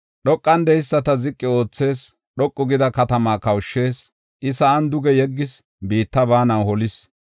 Dhoqan de7eyisata ziqi oothis; dhoqu gida katamaa kawushis. Iya sa7an duge yeggis; biitta baanan holis.